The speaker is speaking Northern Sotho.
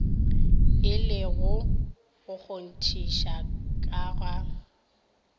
le go kgonthiša ka ga